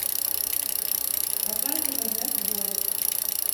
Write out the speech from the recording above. показывай наш двор